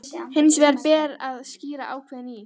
Hins vegar ber að skýra ákvæðin í